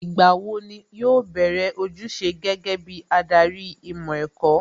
Ìgbà wo ni yóò bẹ̀rẹ̀ ojúṣe gẹ́gẹ́ bí adarí ìmọ̀ ẹ̀kọ́?